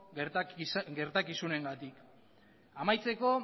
gertakizunengatik amaitzeko